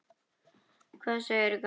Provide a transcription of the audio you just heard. Hvað segirðu, gamli?